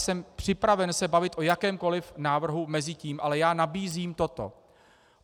Jsem připraven se bavit o jakémkoliv návrhu mezi tím, ale já nabízím toto.